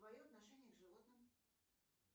твое отношение к животным